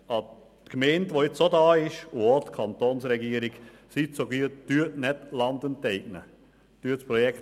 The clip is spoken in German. Daher bitte ich die Kantonsregierung und die Gemeinde, die jetzt auch hier ist, um Folgendes: